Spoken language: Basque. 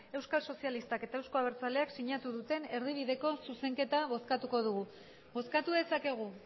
euskal sozialistak eta euzko abertzaleak sinatu duten erdibideko zuzenketa bozkatuko dugu bozkatu dezakegu